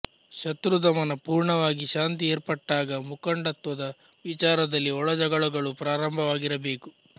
ಶತ್ರುದಮನ ಪೂರ್ಣವಾಗಿ ಶಾಂತಿ ಏರ್ಪಟ್ಟಾಗ ಮುಖಂಡತ್ವದ ವಿಚಾರದಲ್ಲಿ ಒಳಜಗಳಗಳು ಪ್ರಾರಂಭವಾಗಿರಬೇಕು